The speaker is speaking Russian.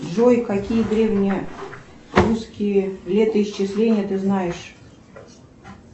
джой какие древние русские летоисчисления ты знаешь